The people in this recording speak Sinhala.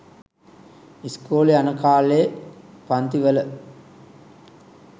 ඉස්කෝලේ යන කලේ පන්ති වල